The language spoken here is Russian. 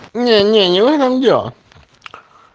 не не не в этом дело